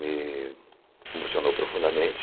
Me emocionou profundamente.